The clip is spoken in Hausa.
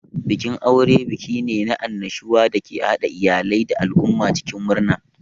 Bikin aure buki ne na annashuwa da ke haɗa iyalai da al'umma cikin murna.